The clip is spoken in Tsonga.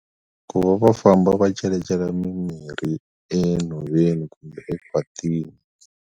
Ku va va famba va celecela mimirhi enhoveni kumbe ekhwatini.